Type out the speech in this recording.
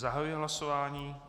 Zahajuji hlasování.